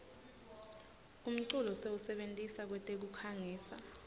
umculo siwusebentisa kwetekukhangisa